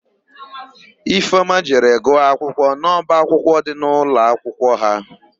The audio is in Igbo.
Ifeọma jere gụọ akwụkwọ n'ọbaakwụkwọ dị n'ụlọakwụkwọ ha.